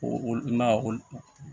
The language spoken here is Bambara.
O olu ma olu